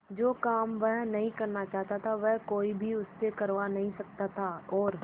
जो काम वह नहीं करना चाहता वह कोई भी उससे करवा नहीं सकता था और